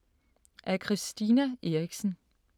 Af Christina Eriksen